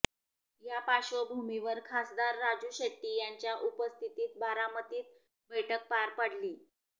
या पार्श्वभूमीवर खासदार राजू शेट्टी यांच्या उपस्थितीत बारामतीत बैठक पार पडली